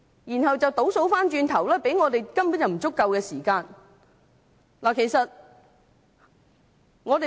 然後倒數過來，給予我們審議《條例草案》的時間根本不足夠。